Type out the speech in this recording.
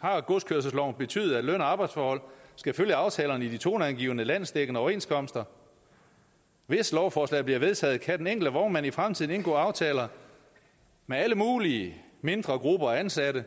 har godskørselsloven betydet at løn og arbejdsforhold skal følge aftalerne i de toneangivende landsdækkende overenskomster hvis lovforslaget bliver vedtaget kan den enkelte vognmand i fremtiden indgå aftaler med alle mulige mindre grupper af ansatte